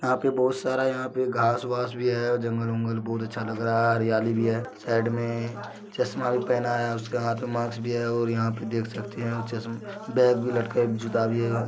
यहा पे बहुत सारा यहा पे घास-वास भी है और जंगल -वंगल बहुत अच्छा लग रहा है हरियाली भी है। साइड मे चश्मा भी पहना है उस के हाथ मे मास्क भी है और यहा पे देख सकते है चसम-- बेग भी लटकाया यहा पे एक जूता भी है।